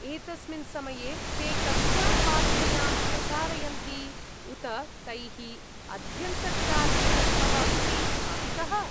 एतस्मिन् समये ते कस्यां वाहिन्यां प्रसारयन्ति? उत तैः अध्यन्तर्जालविकल्पः अपि स्थापितः?